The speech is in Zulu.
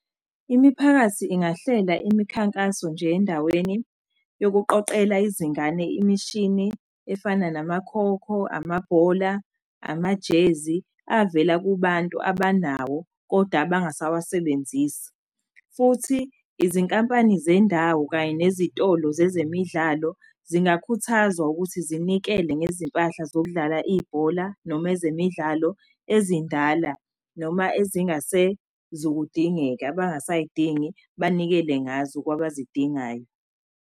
Imiphakathi ingahlela imikhankaso nje endaweni yokuqoqela izingane imishini. Efana namakhokho, amabhola, amajezi avela kubantu abanawo, koda abangasawa sebenzisi. Futhi izinkampani zendawo kanye nezitolo zezemidlalo zingakhuthazwa ukuthi zinikele ngezimpahla zokudlala ibhola noma ezemidlalo ezindala. Noma ezingase zukudingeka, abangasay'dingi banikele ngazo kwabazidingayo.